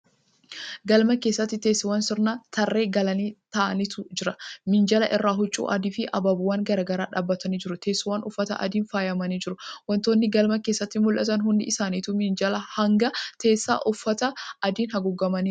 Galma keessatti teessoowwan sirnaan tarree galanii taa'antu jira. Minjaala irra huccuu adii fi abaaboowwan gara garaa dhaabbatnii jiru. Teessoowwan uffata adiin faayamanii jiru. Wantoonni galma keessatti mul'atan hundi isaanituu minjaalaa hanga teessoo uffata adiin haguugamaniiru.